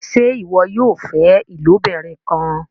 ṣe iwọ yóò fẹ ilobirin kán?